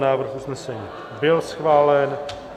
Návrh usnesení byl schválen.